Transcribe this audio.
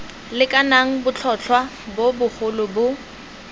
lekanang botlhotlhwa bo bogolo bo